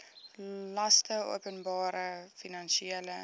laste openbare finansiële